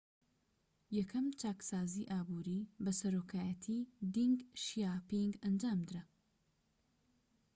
یەکەم چاکسازی ئابووری بە سەرۆکایەتی دینگ شیاپینگ ئەنجامدرا